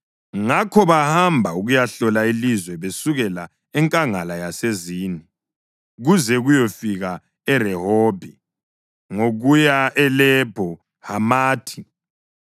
Ngakho bahamba ukuyahlola ilizwe besukela eNkangala yaseZini kuze kuyefika eRehobhi, ngokuya eLebho Hamathi.